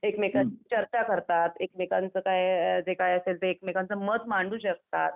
एकमेकं चर्चा करतात एकमेकांचं काय जे काय मत मांडू शकतात.